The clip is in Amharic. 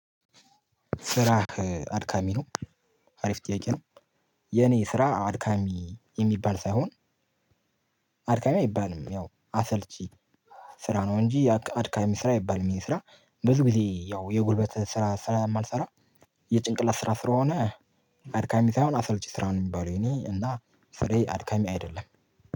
ስራህ አድካሚ ነው አሪፍ ጥያቄ ነው? የኔ ስራ አድካሚ የሚባል ሳይሆን አድካሚ አይባልም ያው አሰልቺ ስራ ነው እንጂ አድካሚ ስራ አይባልም። የኔ ስራ ብዙ ጊዜ ያው የጉልበት ስራ ስለማልሰራ የጭንቅላት ስራ ስለሆነ አድካሚ ሳይሆን አሰልቺ ስራ ነው የሚባለው። የኔ እና ስራዬ አድካሚ አይደለም።